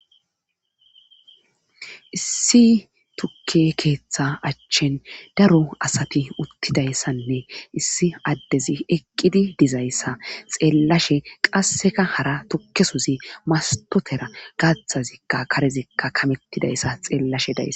issi tukke keeththa achchin daro asati uttidayssanne issi addezi eqqidi dizayssa xeellashe qasseka hara tukkesuzi mastotera gaathazikka karezikka kamettidayssa xeellashe dayess